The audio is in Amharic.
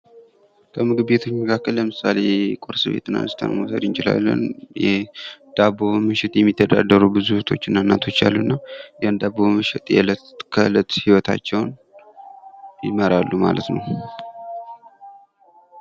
ከምግብ ቤት መካከል ለምሳሌ ቁርስ ቤት አንስተን መውሰድ እንችላለን። የዳቦ በመሸጥ የሚተዳደሩ ብዙ እህቶችና እናቶች አሉና ያን ዳቦ በመሸጥ እለት ከእለት ህይወታቸውን ይመራሉ ማለት ነው።